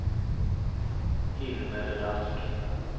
Hilmer Rask